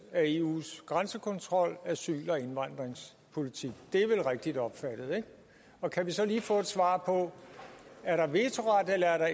af eus grænsekontrol og asyl og indvandringspolitik det er vel rigtigt opfattet ikke og kan vi så lige få et svar på er der vetoret eller